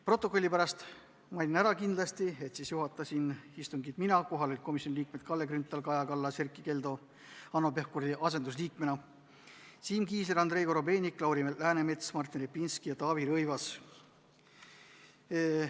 Protokolli pärast mainin kindlasti ära, et siis juhatasin istungit mina ning kohal olid komisjoni liikmed Kalle Grünthal, Kaja Kallas, Erkki Keldo Hanno Pevkuri asendusliikmena, Siim Kiisler, Andrei Korobeinik, Lauri Läänemets, Martin Repinski ja Taavi Rõivas.